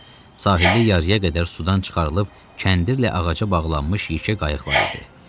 Sahildə yarıya qədər sudan çıxarılıb kəndirlə ağaca bağlanmış yekə qayıq var idi.